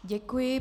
Děkuji.